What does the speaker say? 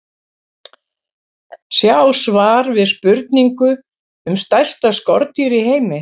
Sjá svar við spurningu um stærsta skordýr í heimi.